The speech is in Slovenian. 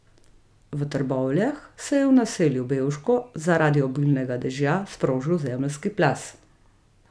V Trbovljah se je v naselju Bevško zaradi obilnega dežja sprožil zemeljski plaz.